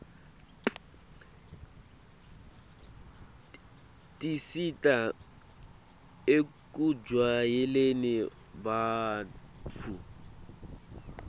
tisita ekujwayeleni bantfu